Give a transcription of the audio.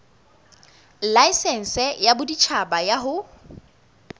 laesense ya boditjhaba ya ho